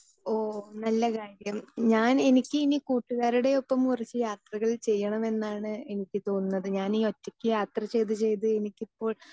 speaker 2 ഓ നല്ല കാര്യം ഞാൻ എനിക്ക് ഇനി കൂട്ടുകാരുടെ ഒപ്പം കുറച്ച് യാത്രകൾ ചെയ്യണം എന്നാണ് എനിക്ക് തോന്നുന്നത് ഞാനീ ഒറ്റയ്ക്ക് യാത്ര ചെയ്ത് ചെയ്ത് എനിക്കിപ്പോൾ